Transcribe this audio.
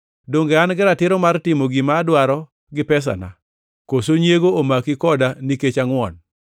Donge an-gi ratiro mar timo gima adwaro gi pesana? Koso nyiego omaki koda nikech angʼwon?’